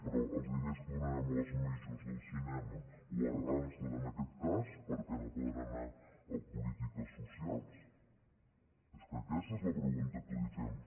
però els diners que donarem a les majorscas per què no poden anar a polítiques socials és que aquesta és la pregunta que li fem